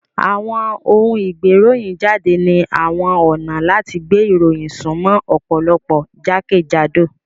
Àwọn òun ìgbéròyìnjáde ni àwọn ọ̀nà láti gbé ìròyìn sumo ọ̀pọ̀lọpọ̀ jákèjádò